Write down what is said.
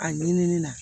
A ɲinini na